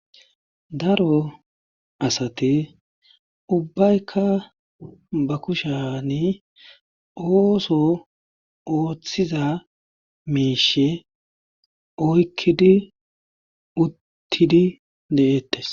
Daro asate ubbaykka ba kushani ooso ooththiza meeshe oykkidi uttidi de'eettes